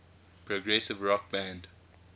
progressive rock band